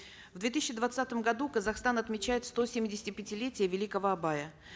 в две тысячи двадцатом году казахстан отмечает стосемидесятипятилетие великого абая